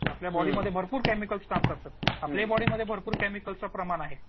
आपल्या बॉडीमध्ये भरपूर केमिकल्स काम करतात. आपल्याही बॉडीमध्ये भरपूर केमिकलचं प्रमाण आहे.